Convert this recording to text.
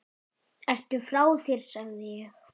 Ertu frá þér sagði ég.